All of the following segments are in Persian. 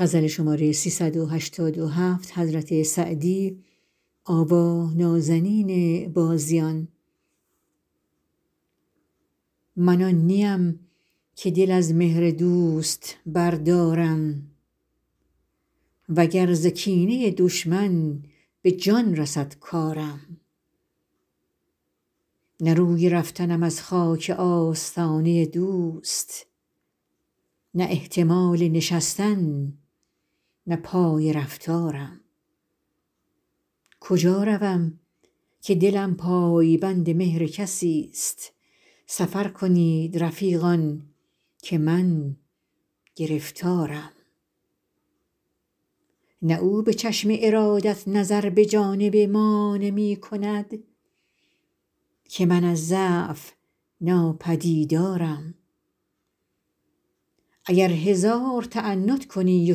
من آن نی ام که دل از مهر دوست بردارم و گر ز کینه دشمن به جان رسد کارم نه روی رفتنم از خاک آستانه دوست نه احتمال نشستن نه پای رفتارم کجا روم که دلم پای بند مهر کسی ست سفر کنید رفیقان که من گرفتارم نه او به چشم ارادت نظر به جانب ما نمی کند که من از ضعف ناپدیدارم اگر هزار تعنت کنی و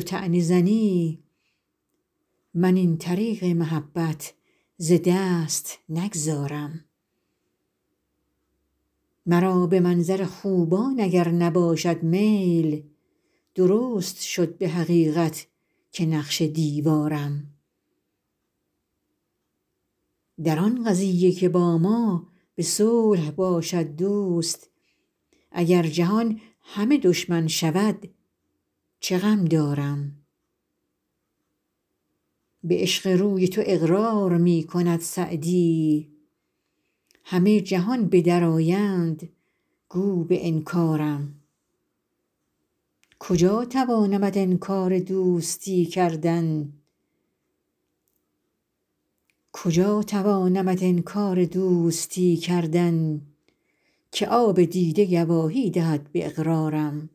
طعنه زنی من این طریق محبت ز دست نگذارم مرا به منظر خوبان اگر نباشد میل درست شد به حقیقت که نقش دیوارم در آن قضیه که با ما به صلح باشد دوست اگر جهان همه دشمن شود چه غم دارم به عشق روی تو اقرار می کند سعدی همه جهان به در آیند گو به انکارم کجا توانمت انکار دوستی کردن که آب دیده گواهی دهد به اقرارم